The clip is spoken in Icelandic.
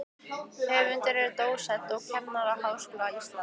Höfundur er dósent við Kennaraháskóla Íslands.